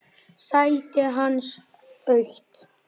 Sætið hans autt.